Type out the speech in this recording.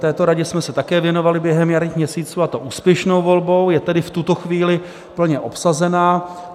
Této radě jsme se také věnovali během jarních měsíců, a to úspěšnou volbou, je tedy v tuto chvíli plně obsazena.